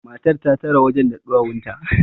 matar ta tare wajen da ɗuwawunta